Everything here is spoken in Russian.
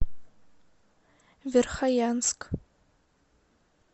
верхоянск